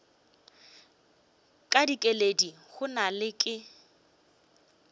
ka dikeledi gona ga ke